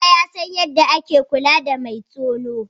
Bala ya san yadda ake kula da mai tono.